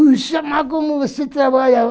Ixe, mas como você trabalha?